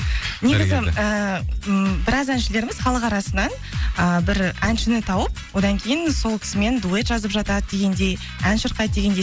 негізі і м біраз әншілеріміз халық арасынан ы бір әншіні тауып одан кейін сол кісімен дуэт жазып жатады дегендей ән шырқайды дегендей